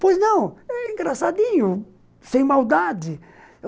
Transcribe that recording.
Pois não, é engraçadinho, sem maldade.